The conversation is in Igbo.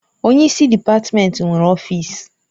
Onye isi dịpatmenti nwere ọfịsi.